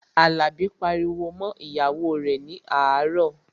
Àlàbí pariwo mọ́ ìyàwó rẹ̀ ní àárọ̀